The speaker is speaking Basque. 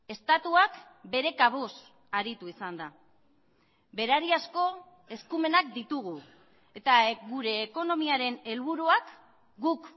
estatuak bere kabuz aritu izan da berariazko eskumenak ditugu eta gure ekonomiaren helburuak guk